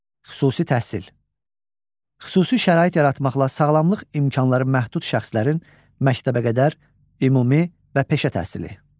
Xüsusi təhsil: Xüsusi şərait yaratmaqla sağlamlıq imkanları məhdud şəxslərin məktəbəqədər, ümumi və peşə təhsili.